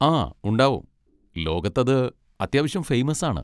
ആ ഉണ്ടാവും, ലോകത്ത് അത് അത്യാവശ്യം ഫെയ്മസ് ആണ്.